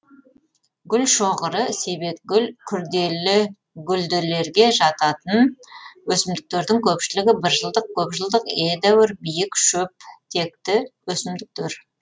гүлшоғыры себетгүл күрделі гүлділерге жататын өсімдіктердің көпшілігі біржылдық көпжылдық едәуір биік шөптекті өсімдіктер